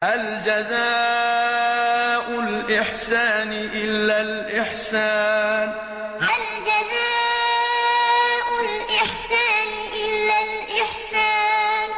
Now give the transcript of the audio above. هَلْ جَزَاءُ الْإِحْسَانِ إِلَّا الْإِحْسَانُ هَلْ جَزَاءُ الْإِحْسَانِ إِلَّا الْإِحْسَانُ